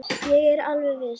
Ég er alveg viss.